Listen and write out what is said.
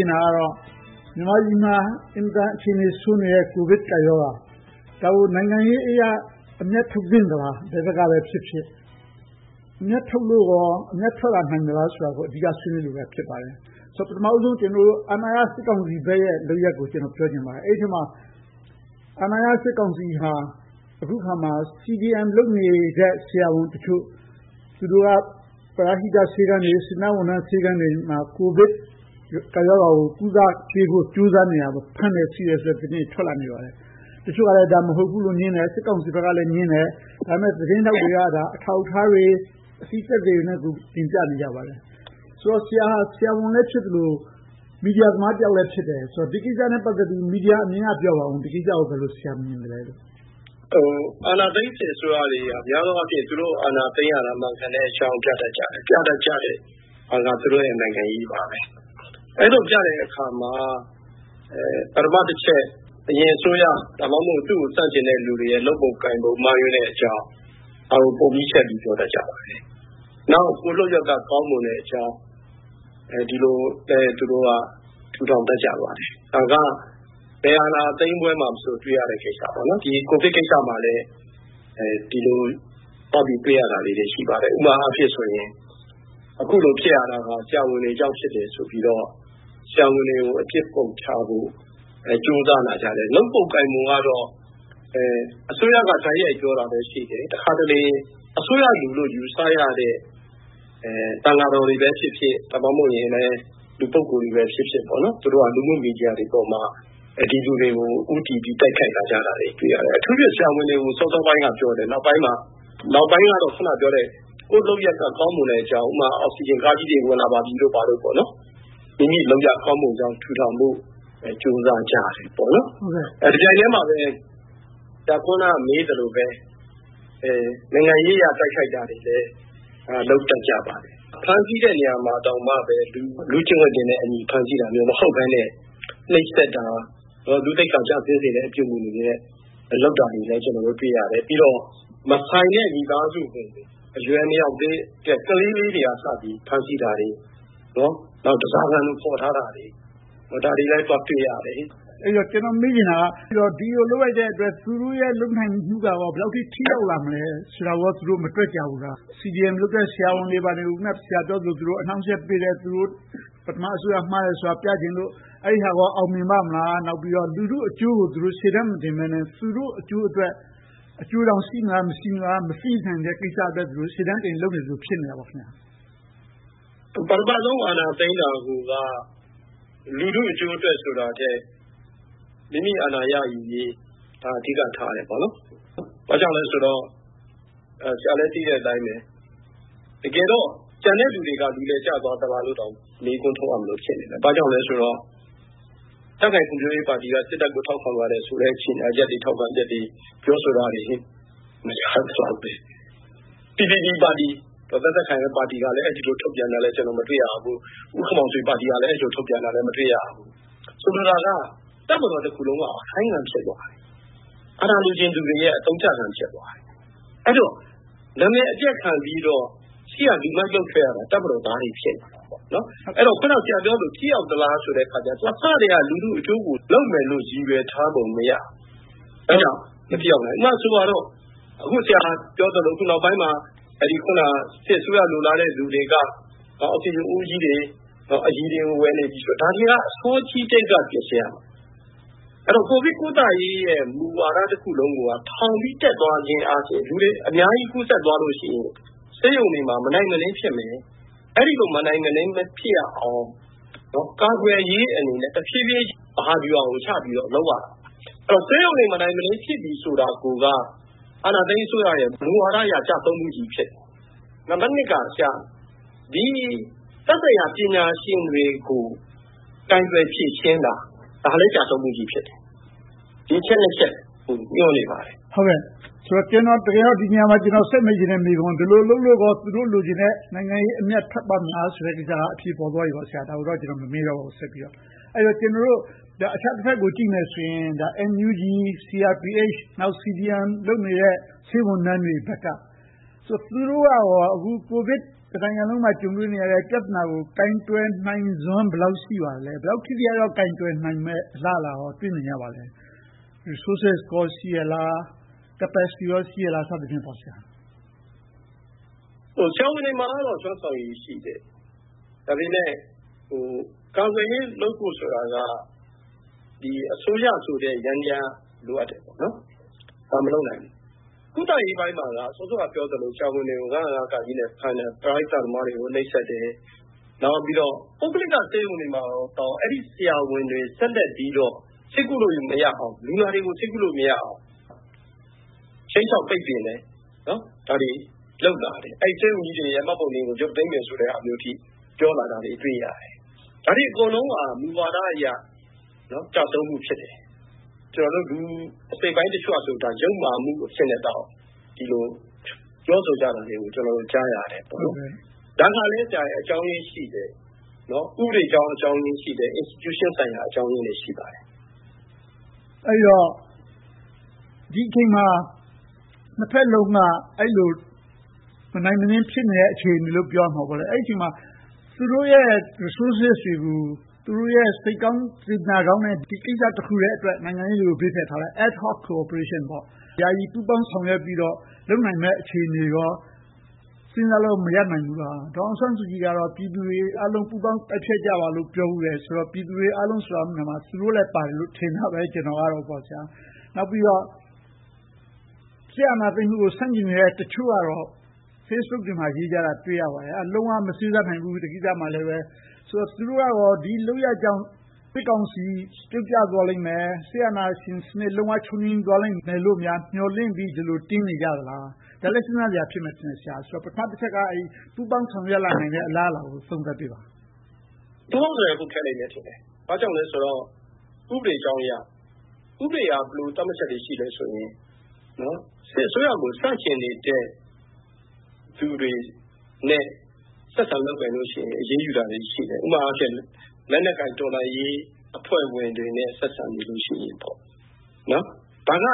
ျင်တာကတော့ မြန်မာနိုင်ငံမှာ အင်မတန်အခြေအနေဆိုးနေတဲ့ ကိုဗစ်ကပ်ရောဂါ။ ဒါကို နိုင်ငံရေးအရ အမြတ်ထုတ်သင့်သလား။ ဘယ်ဘက်ကပဲဖြစ်ဖြစ်။ အမြတ်ထုတ်လိုကော ထွက်လာနိုင်သလားဆိုတာကို အဓိက ဆွေးနွေးချင်ပါတယ်။ ပထမဦးဆုံး အာဏာရစစ်ကောင်စီဘက်ရဲ့ လုပ်ရပ်ကို ပြောချင်ပါတယ်။ အဲဒီထဲမှာ အာဏာရစစ်ကောင်စီဟာ အခုအခါမှာ CDM လုပ်နေတဲ့ ဆရာဝန်တချို့ ၊ သူတို့က ပရဟိတဆေးခန်းတွေ၊ စေတနာဝန်ထမ်းဆေးခန်းတွေမှာ ကိုဗစ်ကပ်ရောဂါကို ကုသပေးဖို့ ကြိုးစားနေတာကို ဖမ်းတယ်၊ ဆီးတယ်ဆိုတဲ့ သတင်းတွေ ထွက်လာပါတယ်။ တချို့က ဒါကို မဟုတ်ဘူးလို့ငြင်းတယ်။ စစ်ကောင်စီဘက်ကလဲ ငြင်းတယ်။ ဒါပေမဲ့ သတင်းထောက်တွေက အထောက်အထားတွေ၊ အသိသက်သေတွေနဲ့ကို တင်ပြနေကြပါတယ်။ ဆရာက ဆရာဝန်တယောက်လည်းဖြစ်တယ်။ မီဒီယာသမားတယောက်လည်း ဖြစ်တယ်ဆိုတော့ ဒီကိစ္စနဲ့ ပတ်သက်ပြီး မီဒီယာအမြင်ကနေ ပြောပါအုံး။ ဒီကိစ္စကို ဘယ်လိုမြင်သလဲလို့။ အာဏာသိမ်းစစ်အစိုးရတွေက များသောအားဖြင့် သူတို့ အာဏာသိမ်းရတာ မှန်ကန်တဲ့အကြောင်း ပြတတ်ကြတယ်။ ပြတဲ့အာဏာက သူတို့ရဲ့ နိုင်ငံရေးပါပဲ။ အဲဒီလိုပြတဲ့အခါမှာ ပထမတချက်က အရင်အစိုးရ၊ သူတို့ဆန့်ကျင်တဲ့လူတွေရဲ့ လုပ်ပုံကိုင်ပုံ မှားယွင်းတဲ့အကြောင်း ဒါကိုပုံကြီးချဲ့ ပြောတတ်ကြပါတယ်။ နောက် သူတို့လုပ်ရပ်က ကောင်းမွန်တဲ့အကြောင်း ဒီလိုပဲ သူတို့က ထူထောင်တတ်ကြပါတယ်။ ဒါက ဘယ်အာဏာသိမ်းပွဲမှာမဆို တွေ့ရတတ်တဲ့ကိစ္စ။ ဒီကိုဗစ်ကိစ္စမှာလဲ ဒီလိုသွားပြီးတွေ့ရတာ ရှိပါတယ်။ ဥပမာအားဖြင့် အခုလိုဖြစ်ရတာ ဆရာဝန်တွေကြောင့် ဖြစ်တယ်ဆိုပြီးတော့ ဆရာဝန်တွေကို အပြစ်ပုံချဖို့ ကြိုးစားလာကြတယ်။ လုပ်ပုံကိုင်ပုံကတော့ အစိုးရက တိုက်ရိုက်ပြောတာပဲရှိတယ်။ တခါတလေ အစိုးရလူလို့ ယူဆရတဲ့ သံဃာတော်တွေပဲဖြစ်ဖြစ်၊ ဒါမှမဟုတ် လူပုဂ္ဂိုလ်တွေပဲဖြစ်ဖြစ် သူတို့က လူမှုမီဒီယာတွေမှာ ဒီလူတွေကို ဦးတည်ပြီး တိုက်ခိုက်လာတာတွေကို တွေ့ရတယ်။ အထူးသဖြင့် ဆရာဝန်တွေကို စောစောပိုင်းကပြောတယ် နောက်ပိုင်းကတော့ ကိုယ့်လုပ်ရပ်က ကောင်းမွန်တဲ့အကြောင်း။ ဥပမာ အောက်ဆီဂျင်ကားကြီးတွေ ဝင်လာပါပြီလို့ ဘာတို့ပေါ့။ မိမိလုပ်ရပ်ကောင်းမွန်ကြောင်း ထူထောင်ဖို့ ကြိုးစားကြတယ်။ တပြိုင်တည်းမှာပဲ ဆရာ အခုနမေးသလိုပဲ နိုင်ငံရေးအရ တိုက်ခိုက်တာတွေလဲ လုပ်တတ်ကြပါတယ်။ ဖမ်းဆီးတဲ့နေရာတွေမှာတောင် လူ့ကျင့်ဝတ်တွေနဲ့ ဖမ်းဆီးတာမျိုး မဟုတ်ဘဲနဲ့ နှိပ်စက်တာ၊ လူ့သိက္ခာကျဆင်းစေမယ့် အပြုအမှုတွေနဲ့ လုပ်တာတွေလဲ ကျနော်တို့ တွေ့ရတယ်။ မဆိုင်တဲ့ မိသားစုဝင်တွေ၊ အရွယ်မရောက်သေးတဲ့ ကလေးလေးတွေကအစ ဖမ်းဆီးတာတွေ၊ ဓါးစားခံလို ခေါ်ထားတာတွေ၊ ဒါတွေလဲ သွားတွေ့ရတယ်။ အဲဒီတော့ ကျနော်မေးချင်တာက ဒီလိုလုပ်လိုက်တဲ့အတွက် သူတို့ရဲ့ လုပ်နိုင်မှုက ဘယ်လောက်အထိ ထိရောက်လာနိုင်မလဲဆိုတာကို သူတို့မတွက်ကြဘူးလား။ CDM လုပ်တဲ့ ဆရာဝန်တွေကို အခုန ဆရာပြောသလို အနှောင့်အယှက်ပေးတယ်။ အရင်အစိုးရ မှားတယ်ဆိုတာကို ပြချင်လို့ အဲဒါကော အောင်မြင်ပါ့မလား။ နောက်ပြီးတော့ လူထုအကျိုးကို ရှေ့တန်းမတင်ဘဲနဲ့ သူတို့အကျိုးအတွက်၊ အကျိုးတောင် ရှိမလား၊ မရှိလား မသိနိုင်တဲ့ကိစ္စအတွက် ရှေ့တန်းတင် လုပ်နေသလို ဖြစ်နေတာပေါ့။ ပထမဦးဆုံး အာဏာသိမ်းတာကိုက လူထုအကျိုးထက်ဆိုတာထက်၊ မိမိအာဏာရယူရေး ဒါကို အဓိကထားတယ်။ ဘာကြောင့်လဲဆိုတော့ ဆရာလဲ သိတဲ့အတိုင်းပဲ တကယ်တော့ ကျန်တဲ့လူတွေက လူလယ်ကျသွားသလားလို့တောင် မေးခွန်းထုတ်ရမလို ဖြစ်နေတယ်။ ဘာဖြစ်လို့လဲဆိုတော့ ကြံ့ခိုင်ဖွံ့ဖြိုးရေးပါတီက စစ်တပ်ကို ထောက်ခံပါတယ်ဆိုတဲ့ ကြေညာချက်တွေ၊ ထောက်ခံချက်တွေ ပြောဆိုတာတွေ မကြားရသလောက်ပဲ။ PPP ပါတီ ဒေါ်သက်သက်ခိုင်တို့ ပါတီကလည်း ဒီလိုထုတ်ပြန်တာကို မတွေ့ရဘူး။ ဦးခင်မောင်ဆွေပါတီကလည်း အဲဒီလို ထုတ်ပြန်တာကို မတွေ့ရဘူး။ ဆိုလိုတာက တပ်မတော်တခုလုံးက အခိုင်းခံဖြစ်သွားတယ်။ အာဏာလိုချင်သူတွေရဲ့ အသုံးချခံ ဖြစ်သွားတယ်။ အဲဒီလို နာမည်အပျက်ခံပြီးတော့ ရှေ့ကလူမိုက်လုပ်နေကြတာ တပ်မတော်သားတွေ ဖြစ်နေတယ်။ အခုန ဆရာပြောသလို ထိရောက်သလားဆိုတော့ အစကတည်းက လူထုအကျိုးကို ရည်ရွယ်ထားပုံ မရဘူး။ အဲဒါကြောင့် မထိရောက်နိုင်ဘူး။ ဥပမာဆိုပါစို့ အခုဆရာပြောသလို နောက်ပိုင်းမှာ စစ်အစိုးရလိုလားတဲ့ လူတွေက အောက်ဆီဂျင်အိုးကြီးတွေ၊ အရည်တွေကို ဝယ်နေပြီလို့ ပြောနေတာတွေက ဒါတွေကို အစောကြီးကတည်းက ပြင်ဆင်ထားရမှာ။ အဲဒီတော့ ကိုဗစ်ကုသရေး မူဝါဒတခုလုံးကိုက ထောင်ပြီးတက်သွားခြင်းအားဖြင့် လူတွေအများကြီး ကူးစက်သွားလို့ရှိရင် ဆေးရုံတွေမှာ မနိုင်မနင်း ဖြစ်မယ်။ အဲဒီလို မနိုင်မနင်း မဖြစ်ရအောင် ကာကွယ်ရေးအနေနဲ့ တဖြည်းဖြည်း မဟာဗျူဟာကို ချပြီးတော့ လုပ်ရတာ။ ဆေးရုံတွေ မနိုင်မနင်း ဖြစ်ရတာကိုက အာဏာသိမ်းစစ်အစိုးရရဲ့ မူဝါဒအရ ကျဆုံးမှုကြီး ဖြစ်နေတယ်။ နံပတ်နှစ်က သက်ဆိုင်ရာပညာရှင်တွေကို ကိုင်တွယ်ဖြေရှင်းတာကလည်း ကျရှုံးမှုကြီး ဖြစ်တယ်။ ဒီအချက် ချက်ကို ညွှန်းနေပါတယ်။ ဒီနေရာမှာ ကျနော်ဆက်မေးချင်တဲ့ မေးခွန်းက ဒီလိုဆက်လုပ်နေလို့ကော သူတို့လိုချင်တဲ့ နိုင်ငံရေးအမြတ်ထွက်မလားဆိုတာ အဖြေပေါ်သွားပြီပေါ့။ ဒါကိုတော့ ကျနော် ဆက်ပြီးတော့ မမေးတော့ဘူး။ အခြားတဘက်ကို ကြည့်မယ်ဆိုရင် NUG, CRPH, CDM လုပ်နေတဲ့ ဆေးဝန်ထမ်းတွေဘက်က သူတို့က တနိုင်ငံလုံးမှာ ကြုံတွေ့နေရတဲ့ ကိုဗစ်ပြဿနာကို ကိုင်တွယ်နိုင်စွမ်း ဘယ်လောက်ရှိပါသလဲ။ ဘယ်လောက်ထိထိရောက်ရောက် ကိုင်တွယ်နိုင်မယ့် အလားအလာကော တွေ့မြင်ရပါသလဲ။ Resources ရှိရဲ့လား။ Capacity ကော ရှိရဲ့လား။ ဆရာဝန်တွေမှာတော့ စွမ်းဆောင်ရည် ရှိတယ်။ ဒါပေမဲ့ ကာကွယ်ရေးလုပ်ဖို့ဆိုတာက အစိုးရဆိုတဲ့ ယန္တရားလိုအပ်တယ်။ ဒါကို မလုပ်နိုင်ဘူး။ ကုသရေးပိုင်းမှာက စောစောကပြောသလို ဆရာဝန်တွေကို ၅၀၅ နဲ့ ဖမ်းတယ်။ ပရဟိတသမားတွေကို နှိပ်စက်တယ်။ နောက်ပြီးတော့ ပုဂ္ဂလိကဆေးရုံတွေမှာတောင် အဲဒီဆရာဝန်တွေ လူနာတွေကို ဆေးကုသလို့မရအောင် ခြိမ်းခြောက်ပိတ်ပင်တယ်။ ဒါတွေလုပ်လာတယ်။ ဆေးရုံကြီးတွေရဲ့ မှတ်ပုံတင်ကို ရုတ်သိမ်းမယ်ဆိုတဲ့အထိ ပြောလာတာတွေ တွေ့ရတယ်။ ဒါတွေအကုန်လုံးက မူဝါဒအရ ကျဆုံးမှု ဖြစ်တယ်။ လူအစိတ်အပိုင်းတချို့ကဆိုရင် ဒါက ယုတ်မာမှုအဆင့်အထိ ပြောဆိုမှုတွေကို ကျနော်တို့ ကြားရတယ်။ ဒါကလဲ အကြောင်းရင်းရှိတယ်။ ဥပဒေအကြောင်းရင်း ရှိတယ်။ Institution ဆိုင်ရာ အကြောင်းရင်းတွေ ရှိပါတယ်။ အဲဒီတော့ ဒီအချိန်မှာ နှစ်ဘက်လုံးက အဲဒီလို မနိုင်မနင်း ဖြစ်နေတဲ့ အခြေအနေလို့ ပြောရမှာပေါ့။ အဲဒီလို အခြေအနေတွေမှာ သူတို့ရဲ့ resources တွေကို သူတို့ရဲ့ စိတ်ကောင်းစေတနာကောင်းနဲ့ ဒီကိစ္စတခုတည်းအတွက် နိုင်ငံရေးကို ဘေးဖယ်ထားလိုက်။ Ad-Hoc Cooperation ယာယီပူးပေါင်းဆောင်ရွက်ပြီးတော့ လုပ်နိုင်မယ့် အခြေအနေတွေကော စဉ်းစားလို့ မရနိုင်ဘူးလား။ ဒေါ်အောင်ဆန်းစုကြည်ကတော့ ပြည်သူတွေအားလုံး ပူးပေါင်းတိုက်ဖျက်ကြပါလို့ ပြောဖူးတယ်။ ပြည်သူတွေအားလုံးလို့ ဆိုတဲ့နေရာမှာ သူတို့လည်းပါတယ်လို့ ကျနော်ကတော့ ထင်တာပဲ။ နောက်ပြီးတော့ စစ်အာဏာသိမ်းမှုကို ဆန့်ကျင်နေတဲ့ တချို့ကတော့ Facebook တွေမှာ ရေးကြတာ တွေ့ရပါတယ်။ လုံးဝမမစေ့စပ်နိုင်ဘူး ဒီကိစ္စမှာလဲ။ ဆိုတော့ သူတို့ကလဲ ဒီလုပ်ရပ်ကြောင့် စစ်ကောင်စီ ပြုတ်ကျသွားလိမ့်မယ်၊ စစ်အာဏာရှင်စနစ် လုံးဝချုပ်ငြိမ်းသွားလိမ့်မယ်လို့ မျှော်လင့်ပြီး ဒီလိုတင်းနေကြတာလား။ ဒါလဲ စဉ်းစားစရာဖြစ်မယ်ထင်တယ်။ ပထမတချက်က ပူးပေါင်းဆောင်ရွက်လာနိုင်တဲ့ အလားအလာကို သုံးသပ်ပေးပါ။ ပူးပေါင်းဖို့ဆိုတာ ခက်လိမ့်မယ်။ ဘာကြောင့်လဲဆိုတော့ ဥပဒေအကြောင်းအရာအရ။ ဥပဒေက ဘယ်လိုသတ်မှတ်ချက်တွေ ရှိသလဲဆိုရင် စစ်အစိုးရကို ဆန့်ကျင်နေတဲ့ လူတွေနဲ့ ဆက်ဆံလုပ်ကိုင်နေတာတွေရှိရင် အရေးယူတာတွေ ရှိတယ်။ ဥပမာ လက်နက်ကိုင်တော်လှန်ရေး အဖွဲ့ဝင်တွေနဲ့ ဆက်ဆံနေမှု ရှိရင်ပေါ့။ ဒါက